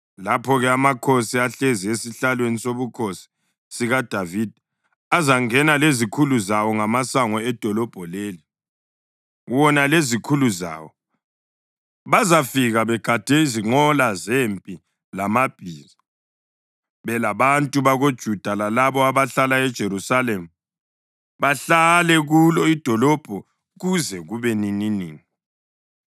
lapho-ke amakhosi ahlezi esihlalweni sobukhosi sikaDavida azangena lezikhulu zawo ngamasango edolobho leli. Wona lezikhulu zawo bazafika begade izinqola zempi lamabhiza, belabantu bakoJuda lalabo abahlala eJerusalema; bahlale kulo idolobho kuze kube nininini.